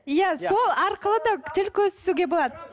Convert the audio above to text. иә сол арқылы да тіл көз түсуге болады